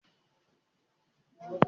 Zan buɗe wajen gyaran jiki na mata.